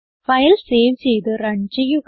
file save ചെയ്ത് run ചെയ്യുക